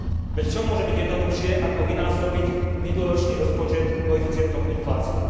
Veď čo môže byť jednoduchšie, ako vynásobiť minuloročný rozpočet koeficientom inflácie.